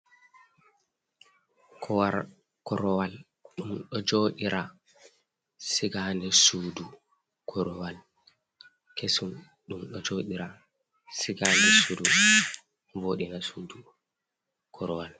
Korwal, ɗum ɗo joodira, siga haa nder sudu. Korwal kesum ɗum ɗo jooɗira, siga haa nder sudu, voɗinan sudu, korwal.